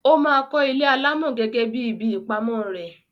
Ó máa kọ́ ilé alámọ̀ gẹ́gẹ́ bí ibi ìpamọ́ rẹ̀.